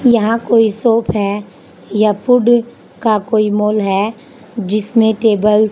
यहां कोई शॉप हैं या फूड का कोई मॉल है जिसमे टेबल्स --